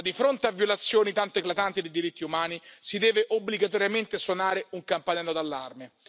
Ma di fronte a violazioni tanto eclatanti dei diritti umani, si deve obbligatoriamente suonare un campanello d'allarme.